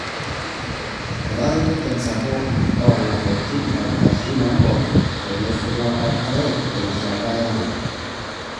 Etareto enchan sapuk oalapaitin nkabilaritin oompoosho teneshula orpaek terishata yare.